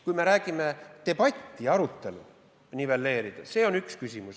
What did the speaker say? Kui me räägime debatist ja arutelust, siis püüe neid nivelleerida on üks küsimus.